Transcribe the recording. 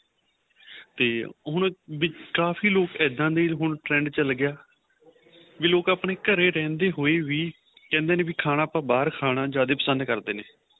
ਤੇ ਹੁਣ ਕਾਫ਼ੀ ਲੋਕਾਂ ਇਹਦਾ ਦੇ trend ਚੱਲ ਗਿਆ ਵੀ ਲੋਕ ਆਪਣੇਂ ਘਰੇ ਰਹਿੰਦੇ ਹੋਵੇ ਵੀ ਕਹਿੰਦੇ ਨੇ ਵੀ ਖਾਣਾ ਆਪਾਂ ਬਹਾਰ ਖਾਣਾ ਜਿਆਦਾ ਪਸੰਦ ਕਰਦੇ ਨੇ